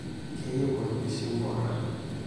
Keyieu olpishi mpuka.